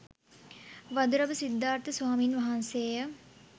වඳුරඹ සිද්ධාර්ථ ස්වාමීන් වහන්සේ ය.